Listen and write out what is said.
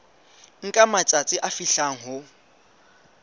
nka matsatsi a fihlang ho